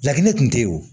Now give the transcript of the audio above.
Lakini kun te ye o